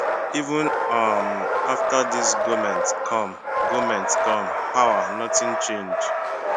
even um after dis goment come goment come power notin change